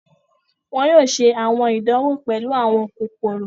Wọn yóò ṣe àwọn ìdanwo pẹlu àwọn kokoro.